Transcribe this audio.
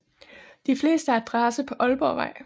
De fleste har adresse på Ålborgvej